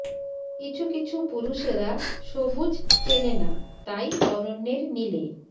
কিছু কিছু পুরুষেরা সবুজ চেনে না তাই অরণ্যের নীলে